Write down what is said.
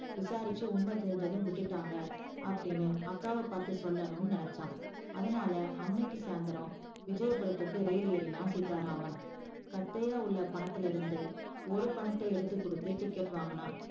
விசாரிச்சி உண்மை தெரின்சதும் விட்டுடாங்க அப்டின்னு அக்காவ பாத்து சொல்லனும்னு நினச்சா அதனால அன்னைக்கி சாந்தரம் விஜயபுரத்துக்கு ரயில் ஏறினான் சீத்தா ராமன் கட்டையா உள்ள பணத்துல இருந்து ஒரு பணத்த எடுத்து கொடுத்து ticket வாங்குனா